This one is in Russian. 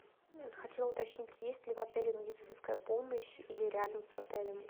хотела уточнить есть ли в отеле медицинская помощь или рядом с отелем